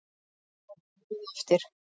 Hann hjólaði eftir